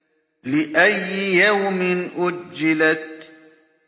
لِأَيِّ يَوْمٍ أُجِّلَتْ